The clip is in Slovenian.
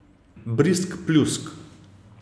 Brizg, pljusk.